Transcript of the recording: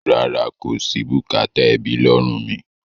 Rárá, kò sí bùkátà ẹbí lọ́rùn mi.